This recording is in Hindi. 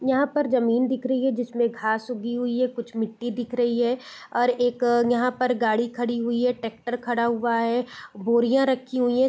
यहाँ पर जमीन दिख रही है जिसमें घास उगी हुई है कुछ मिट्टी दिख रही है और एक यहाँ पर गाड़ी खड़ी हुई है टेक्टर खड़ा हुआ है बोरियां रखी हुई है।